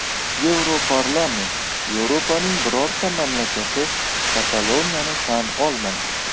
Yevroparlament: Yevropaning birorta mamlakati Kataloniyani tan olmaydi.